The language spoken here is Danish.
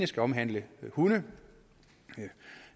skal omhandle hunde